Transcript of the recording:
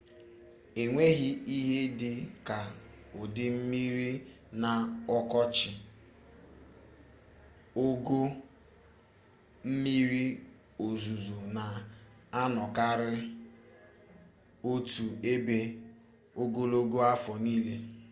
enweghị ihe dị ka udu mmiri na ọkọchị ogo mmiri ozuzo na-anọkarị otu ebe ogologo afọ niile